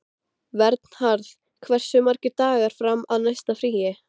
Vernharð, hversu margir dagar fram að næsta fríi?